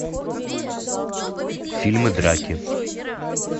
фильмы драки